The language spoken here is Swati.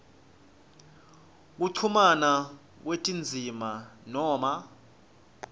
kuchumana kwetindzima noma